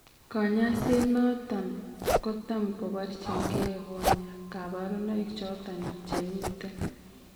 Kanyaiset noton kotam kobarchin gee konyaa kabarunaik choton chemiten